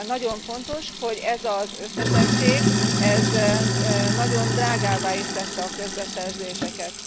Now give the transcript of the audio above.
Nagyon fontos, hogy ez az összetettség nagyon drágává is tette a közbeszerzéseket.